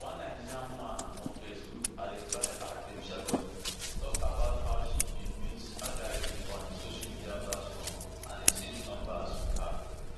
one nigerian man on facebook identified as babysharkonei tok about how she bin meet adaidu on di social media platform and exchange numbers wit her